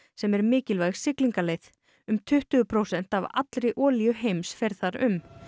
sem er mikilvæg siglingaleið um tuttugu prósent af allri olíu heims fer þar um